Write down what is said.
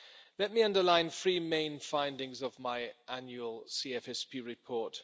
Let me underline the three main findings of my annual CFSP report.